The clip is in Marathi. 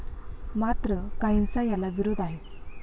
मात्र, काहींचा याला विरोध आहे.